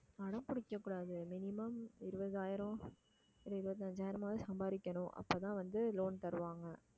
அடம் பிடிக்கக் கூடாது minimum இருபதாயிரம் இல்ல இருபத்தஞ்சாயிரமாவது சம்பாதிக்கணும் அப்பதான் வந்து loan தருவாங்க